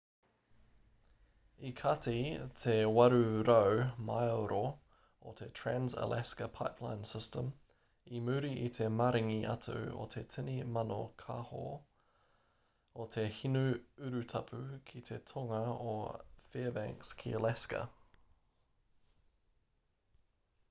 i kati te 800 māero o te trans-alaska pipeline system i muri i te maringi atu o te tini mano kāho o te hinu urutapu ki te tonga o fairbanks ki alaska